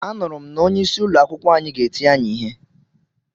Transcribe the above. Anuru m na onye isi ụlọ akwụkwọ anyi ga-eti anyi ihe.